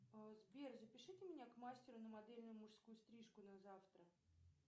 сбер запишите меня к мастеру на модельную мужскую стрижку на завтра